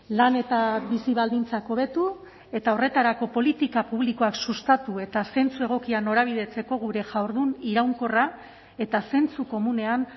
lan eta bizi baldintzak hobetu eta horretarako politika publikoak sustatu eta zentzu egokian norabidetzeko gure jardun iraunkorra eta zentzu komunean